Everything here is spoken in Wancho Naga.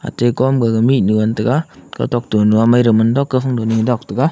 ate kom gaga mihnyu han tega kautok te nyu aa maidau mandok kau phang ni dok tega.